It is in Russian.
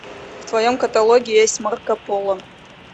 в твоем каталоге есть марко поло